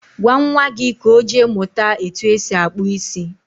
gwa nwa gị ka ọ jee mụta etu esi akpụ isi